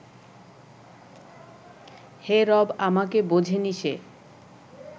হে রব, আমাকে বোঝেনি সে